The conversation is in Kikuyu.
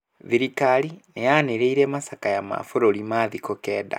Thirikari nĩ yanĩrĩire macakaya ma bũrũri ma thikũ kenda.